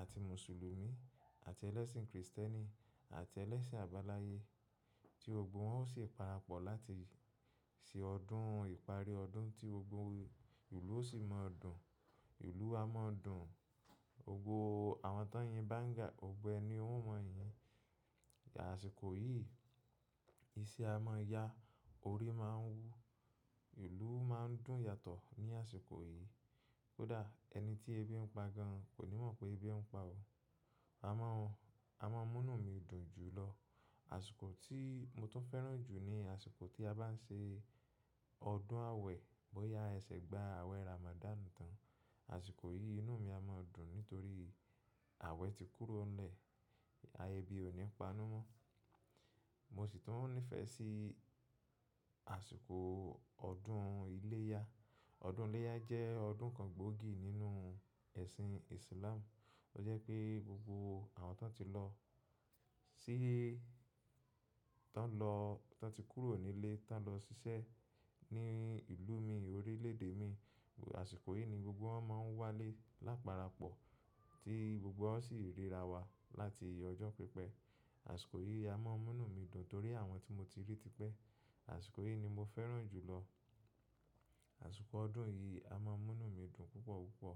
àti Mùsùlùmí àti ẹlẹ́sìn Krìstẹ́nì àti ẹlẹ́sìn àbáláyé tí gbogbo wọn ó ṣe parapọ̀ láti ṣe ọdún ìparí ọdún tí gbogbo ìlú ó sì máa dùn. Ìlú a máa dùn, gbogbo àwọn tán yin banga, gbogbo ẹ́ ni wọn o yin. Àṣìkò yìí iṣẹ́ a máa ya, orí máa ń wú, ìlú máa ń dùn yàtọ̀ ní àsìkò yìí. Kódà ẹni tí ẹbí ń pa gan an kò ní mọ̀ pé ẹbí ń pa o. A máa n-- a máa múnú mi dùn jù lọ. Àṣìkò tí mo tún fẹ́ràn jù ni àsìkò tí a bá ń ṣe ọdún awẹ. Bóyá ẹ ṣẹ̀ gba awẹ Ramadan tán. Àṣìkò yìí inú mi a máa dùn nítorí awẹ ti kúrò n le ebí òní panú mọ́. Mo sì tún nífẹ̀ẹ́ sí àsìkò ọdún iléyá. Ọdún iléyá jẹ́ ọdún kan gbòógì nínú ẹ̀sìn Islam. Ó jẹ́ pé gbogbo àwọn tí wọ́n ti lọ síí tọ́n lọ-- ton ti kúrò nílé, tọ́n lọ ṣiṣẹ́ ní ìlú mi orílẹ̀ èdè mi, àsìkò yìí ni gbogbo wọn máa ń wálé láparapọ̀ tí gbogbo wa o sì ríra wa láti ojo pípẹ́. Àṣìkò yìí a máa múnú mi dùn torí àwọn tí mo ti rí ti pẹ́. Àṣìkò yìí ni mo fẹ́ràn jù lọ. Àṣìkò ọdún yìí a máa múnú mi dùn púpọ̀ púpọ̀.